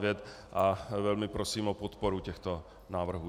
Velmi prosím o podporu těchto návrhů.